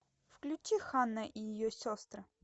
включи ханна и ее сестры